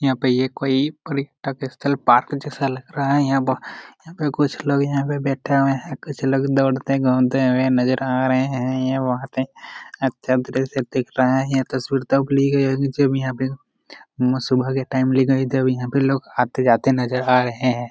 यहाँ पे ये कोई पॉलिकताल स्तल पार्क जैसा लग रहा है यहां यहां पे कुछ लोग यहां पे बैठे हुए है कुछ लोग दोड़ते घूमते हुए नजर आ रहे है यहां पे अच्छा दृश्य देख रहे हैं यह तस्वीर तब ली गई है जब यहां पे सुबह के टाइम ली गई है जब लोग यहां पर आते जाते नजर आ रहे हैं।